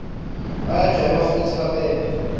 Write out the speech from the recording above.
bayadvueba fusi bapende